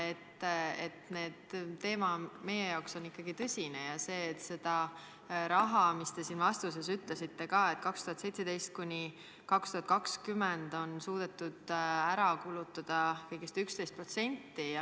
Meie jaoks on teema ikkagi tõsine ja oluline on ka asjaolu, et seda raha, nagu te siin ütlesite, on 2017–2020 suudetud ära kulutada kõigest 11%.